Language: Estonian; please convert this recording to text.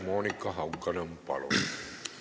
Monika Haukanõmm, palun!